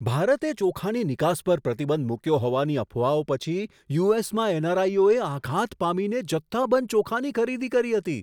ભારતે ચોખાની નિકાસ પર પ્રતિબંધ મૂક્યો હોવાની અફવાઓ પછી યુ.એસ.માં એન.આર.આઈ ઓ એ આઘાત પામીને જથ્થાબંધ ચોખાની ખરીદી કરી હતી.